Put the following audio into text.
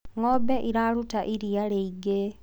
ng'ombe iraruta iria riingi